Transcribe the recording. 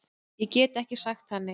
Ég get ekki sagt það, nei